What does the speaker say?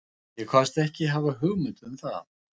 Ég kvaðst ekki hafa hugmynd um það.